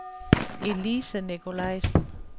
Elise Nicolaisen